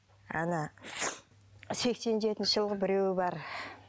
ана сексен жетінші жылғы біреуі бар